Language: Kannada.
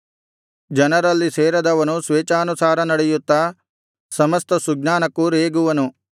ಜನರಲ್ಲಿ ಸೇರದವನು ಸ್ವೇಚ್ಛಾನುಸಾರ ನಡೆಯುತ್ತಾ ಸಮಸ್ತ ಸುಜ್ಞಾನಕ್ಕೂ ರೇಗುವನು